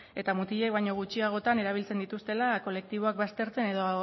eta mutilek baino gutxiagotan erabiltzen dituztela kolektiboak baztertzen edo